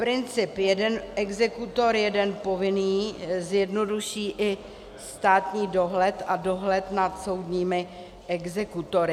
Princip jeden exekutor - jeden povinný zjednoduší i státní dohled a dohled nad soudními exekutory.